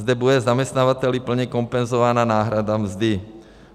Zde bude zaměstnavateli plně kompenzována náhrada mzdy.